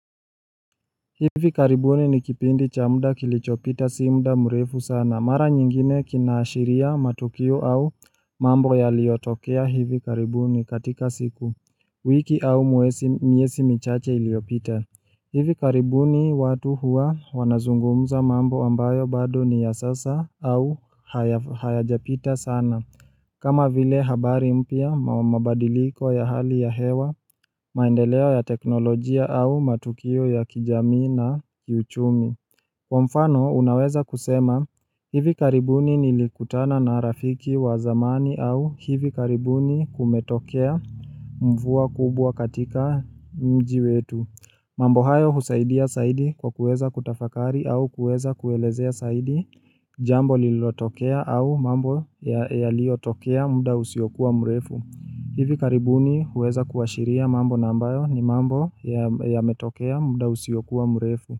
Hivi karibuni ni kipindi cha muda kilichopita si muda mrefu sana mara nyingine kinaashiria matukio au mambo yaliyotokea hivi karibuni katika siku, wiki au miezi michache iliyopita hivi karibuni watu huwa wanazungumza mambo ambayo bado ni ya sasa au hayajapita sana kama vile habari mpya, mabadiliko ya hali ya hewa, maendeleo ya teknolojia au matukio ya kijamii na kiuchumi. Kwa mfano, unaweza kusema hivi karibuni nilikutana na rafiki wa zamani au hivi karibuni kumetokea mvua kubwa katika mji wetu. Mambo hayo husaidia saidi kwa kuweza kutafakari au kuweza kuelezea zaidi jambo lilotokea au mambo yaliyotokea muda usiokuwa mrefu. Hivi karibuni huweza kuashiria mambo na ambayo ni mambo yametokea muda usiokuwa mrefu.